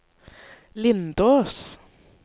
Lindås